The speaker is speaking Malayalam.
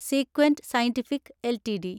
സീക്വന്റ് സയന്റിഫിക് എൽടിഡി